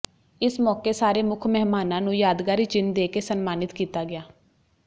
ਇਸ ਮੌਕੇ ਸਾਰੇ ਮੁੱਖ ਮਹਿਮਾਨਾਂ ਨੂੰ ਯਾਦਗਾਰੀ ਚਿੰਨ ਦੇ ਕੇ ਸਨਮਾਨਿਤ ਕੀਤਾ ਗਿਆ